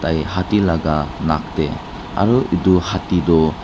tai haathi laga nak tey aro etu haathi toh--